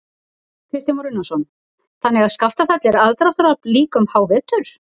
Kristján Már Unnarsson: Þannig að Skaftafell er aðdráttarafl líka um hávetur?